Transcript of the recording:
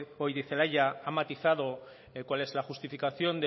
goirizelaia ha matizado cuál es la justificación